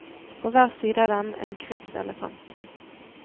På hver side av dem en krigselefant.